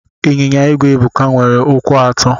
Inyinya igwe Ebuka nwere ụkwụ atọ.